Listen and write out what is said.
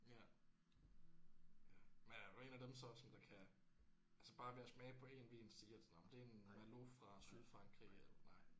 Ja. Ja men er du en af dem så som der kan altså bare ved at smage på én vin sige at nåh men det er en Merlot fra Sydfrankrig eller nej